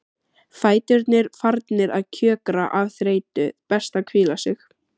Fæturnir farnir að kjökra af þreytu, best að hvíla sig.